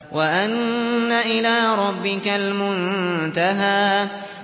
وَأَنَّ إِلَىٰ رَبِّكَ الْمُنتَهَىٰ